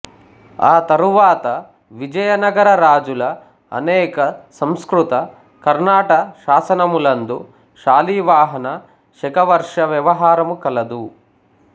ఆ తరువాత విజయనగర రాజుల అనేక సంస్కృత కర్ణాట శాసనములందు శాలివాహన శకవర్ష వ్యవహారము కలదు